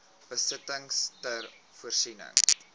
besittings ter voorsiening